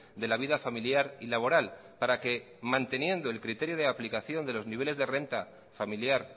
de la vida familiar y laboral para que manteniendo el criterio de aplicación de los niveles de renta familiar